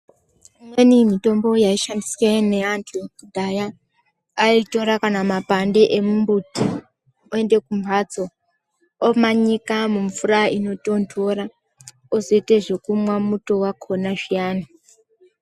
Imweni mitombo yaishandiswa nevantu vekudhaya vaitora kana makwande kuenda kumbatso omanyika mumvura inotondora wozoita zvekumwa muto wakona piyani.